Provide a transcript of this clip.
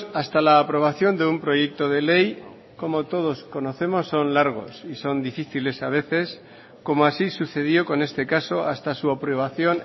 hasta la aprobación de un proyecto de ley como todos conocemos son largos y son difíciles a veces como así sucedió con este caso hasta su aprobación